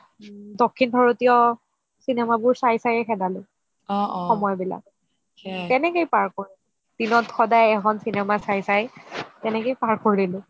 ওম দক্ষিণ ভাৰতিয় cinema বোৰ চাই চাইয়ে খেদালো সময়বিলাক তেনেকেই পাৰ কৰিলো দিনত সদাই এখন এখন cinema চাই তেনেকেই পাৰ কৰিলো